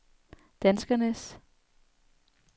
danskernes